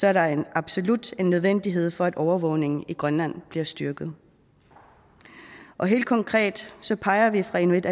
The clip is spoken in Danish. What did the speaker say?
er der en absolut nødvendighed for at overvågningen i grønland bliver styrket helt konkret peger vi fra inuit